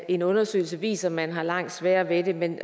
en undersøgelse viser at man har langt sværere ved det men